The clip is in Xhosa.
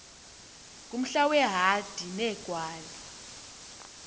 ngumhla weehadi neegwali